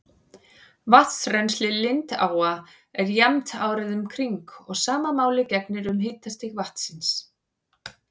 Vatnsrennsli lindáa er jafnt árið um kring og sama máli gegnir um hitastig vatnsins.